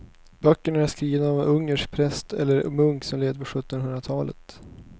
Böckerna är skrivna av en ungersk präst eller munk som levde på sjuttonhundratalet.